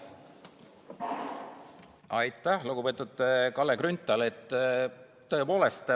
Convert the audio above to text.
Aitäh, lugupeetud Kalle Grünthal!